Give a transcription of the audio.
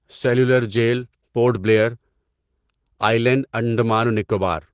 cellular Jail Port Blair, island Andaman و نکوبار